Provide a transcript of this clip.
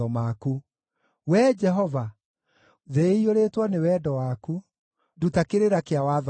Wee Jehova, thĩ ĩiyũrĩtwo nĩ wendo waku; nduta kĩrĩra kĩa watho waku.